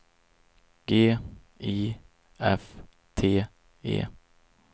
G I F T E